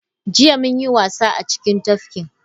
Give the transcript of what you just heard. Jiya, mun yi wasa a cikin tafkin.